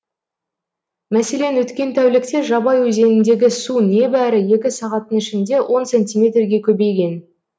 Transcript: мәселен өткен тәулікте жабай өзеніндегі су небәрі екі сағаттың ішінде он сантиметрге көбейген